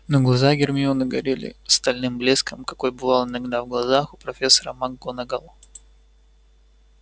но глаза гермионы горели стальным блеском какой бывал иногда в глазах у профессора макгонагалл